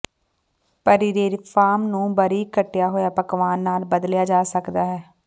ਪਰੀਰੇਫਾਰਮ ਨੂੰ ਬਾਰੀਕ ਕੱਟਿਆ ਹੋਇਆ ਪਕਵਾਨ ਨਾਲ ਬਦਲਿਆ ਜਾ ਸਕਦਾ ਹੈ